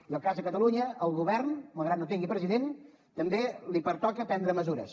i en el cas de catalunya al govern malgrat no tingui president també li pertoca prendre mesures